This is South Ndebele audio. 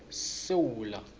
sesewula